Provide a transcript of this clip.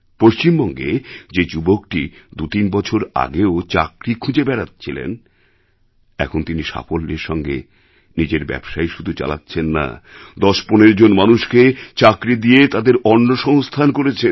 পশ্চিমবঙ্গে যে যুবকটি দুতিন বছর আগেও চাকরি খুঁজে বেড়াচ্ছিলেন এখন তিনি সাফল্যের সঙ্গে নিজের ব্যবসাই শুধু চালাচ্ছেন না ১০১৫ জন মানুষকে চাকরি দিয়ে তাদের অন্নসংস্থান করেছেন